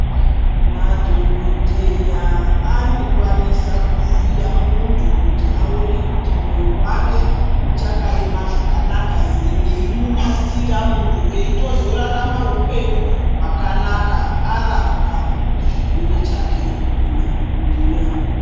Madhokodheya anokwanisa kuvhiya muntu kuti awone kuti moyo wake uchakayema zvakanaka ere, veyimunasira muntu eyitozorarama upenyu hwakanaka arapwa, chirwere chake nemadhokodheya.